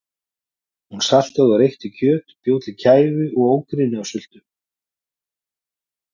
Hún saltaði og reykti kjöt, bjó til kæfu og ógrynni af sultu.